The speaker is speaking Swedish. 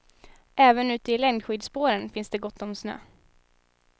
Även ute i längdskidspåren finns det gott om snö.